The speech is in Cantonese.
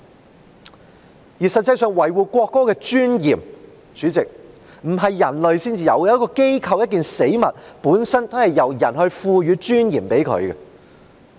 主席，實際上，維護國歌的尊嚴不是人唯一要做的，一個機構、一個死物本身也是由人賦予尊嚴的。